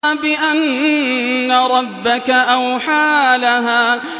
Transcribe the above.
بِأَنَّ رَبَّكَ أَوْحَىٰ لَهَا